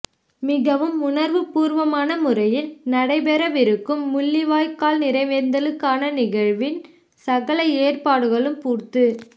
மிகவும் உணர்வுபூர்வமான முறையில் நடைபெறவிருக்கும் முள்ளிவாய்க்கால் நினைவேந்தலுக்கான நிகழ்வின் சகல ஏற்பாடுகளும் பூர்த்து